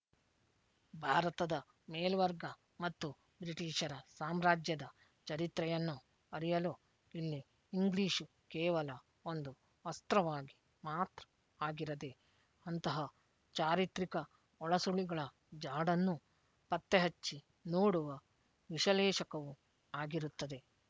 ಭಾರತದ ಮೇಲ್ವರ್ಗ ಮತ್ತು ಬ್ರಿಟಟೀಶರ ಸಾಮ್ರಾಜ್ಯದ ಚರಿತ್ರೆಯನ್ನು ಅರಿಯಲು ಇಲ್ಲಿ ಇಂಗ್ಲೀಷ್ ಕೇವಲ ಒಂದು ಅಸ್ತ್ರವಾಗಿ ಮಾತ್ರ ಆಗಿರದೆ ಅಂತಹ ಚಾರಿತ್ರಿಕ ಒಳಸುಳಿಗಳ ಜಾಡನ್ನು ಪತ್ತೆಹಚ್ಚಿ ನೋಡುವ ವಿಶಲೇಶಕವೂ ಆಗಿರುತ್ತದೆ